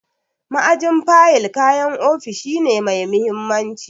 Ma'ajin fayil kayan ofishi ne mai mahimmanci.